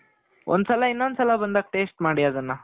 ಒಂದು ಸಲ ಇನ್ನೊಂದ್ ಸಲ ಬಂದಾಗಾ taste ಮಾಡಿ ಅದನ್ನ